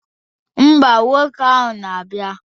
Ḿbà, nwoke ahụ na-abịa.